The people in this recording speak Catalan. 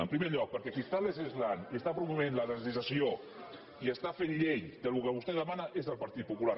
en primer lloc perquè qui legisla i promou la legislació i fa llei del que vostè demana és el partit popular